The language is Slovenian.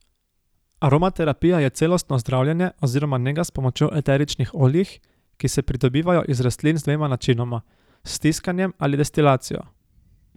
Aromaterapija je celostno zdravljenje oziroma nega s pomočjo eteričnih oljih, ki se pridobivajo iz rastlin z dvema načinoma, s stiskanjem ali destilacijo.